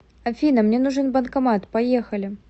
афина мне нужен банкомат поехали